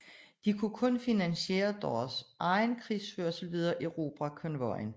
De kunne kun finansiere deres egen krigsførelse ved at erobre konvojen